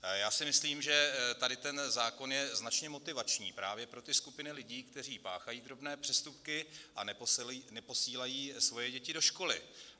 Já si myslím, že tady ten zákon je značně motivační právě pro ty skupiny lidí, kteří páchají drobné přestupky a neposílají svoje děti do školy.